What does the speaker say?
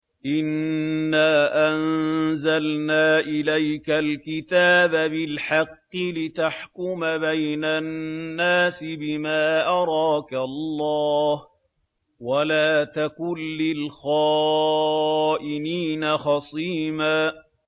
إِنَّا أَنزَلْنَا إِلَيْكَ الْكِتَابَ بِالْحَقِّ لِتَحْكُمَ بَيْنَ النَّاسِ بِمَا أَرَاكَ اللَّهُ ۚ وَلَا تَكُن لِّلْخَائِنِينَ خَصِيمًا